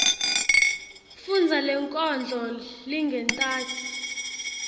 fundza lenkondlo lengentasi